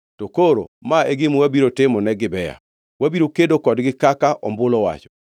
To koro ma e gima wabiro timo ne Gibea: Wabiro kedo kodgi kaka ombulu owacho.